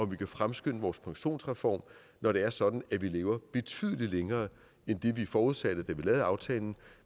vi kan fremskynde vores pensionsreform når det er sådan at vi lever betydelig længere end det vi forudsatte da vi lavede aftalen